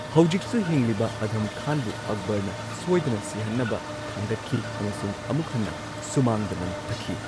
ꯍꯧꯖꯤꯛꯁꯨ ꯍꯤꯡꯂꯤꯕ, ꯑꯙꯝ ꯈꯥꯟꯕꯨ ꯑꯛꯕꯔꯅ ꯁꯣꯏꯗꯅ ꯁꯤꯍꯟꯅꯕ ꯊꯥꯡꯒꯠꯈꯤ ꯑꯃꯁꯨꯡ ꯑꯃꯨꯛ ꯍꯟꯅ ꯁꯨꯃꯥꯡꯗ ꯂꯪꯊꯈꯤ꯫